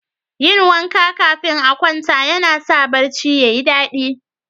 Yin wanka kafin a kwanta yana sa barci ya yi dadi.